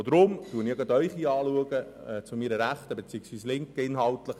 Deshalb schaue ich Sie zu meiner Rechten, also die Linken, an: